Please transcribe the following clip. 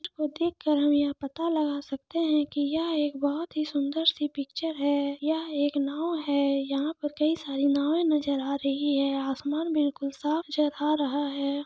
इसको देख कर हम यह पता लगा सकते हैं कि यहा एक बहोत ही सुंदर सी पिक्चर है यहा एक नाव है यहाँ पर कई सारी नावे नजर आ रही है आसमान बिलकुल साफ नजर आ रहा है ।